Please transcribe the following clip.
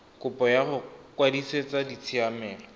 kopo ya go kwadisetsa ditshiamelo